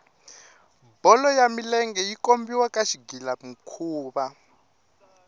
bolo ya milenge yi kombiwa ka xigila mikhuva